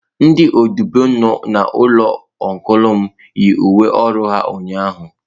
Ndị odibo nọ n'ụlọ ọncụl m, yi uwe ọrụ ha ụnyahụ